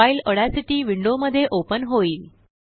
file Audacity window मध्ये open होईल